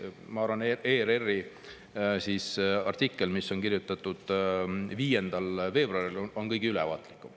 Ma arvan, et ERR-i artikkel, mis on kirjutatud 5. veebruaril, on kõige ülevaatlikum.